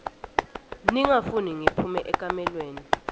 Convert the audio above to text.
ningafuni ngiphume ekamelweni